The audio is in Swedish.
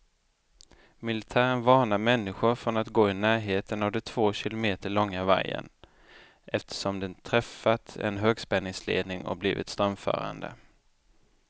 Militären varnar människor från att gå i närheten av den två kilometer långa vajern, eftersom den träffat en högspänningsledning och blivit strömförande.